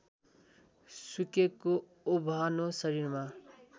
सुकेको ओभानो शरीरमा